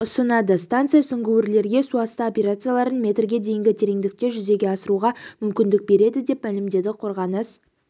ұсынады станция сүңгуірлерге суасты операцияларын метрге дейінгі тереңдікте жүзеге асыруға мүмкіндік береді деп мәлімдеді қорғаныс